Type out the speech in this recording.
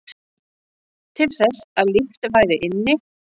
Til þess að líft væri inni